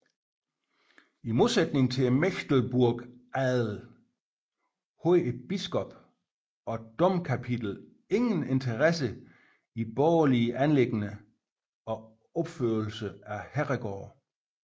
I modsætning til Mecklenburgs adel havde biskop og domkapitlet ingen interesse i borgerlige anliggender og opførelsen af herregårde